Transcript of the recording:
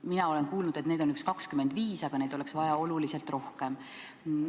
Mina olen kuulnud, et neid on umbes 25, aga oleks vaja oluliselt rohkem.